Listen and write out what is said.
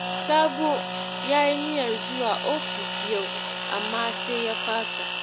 Sabo ya yi niyyar zuwa ofis yau, amma sai ya fasa